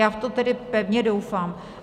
Já v to tedy pevně doufám.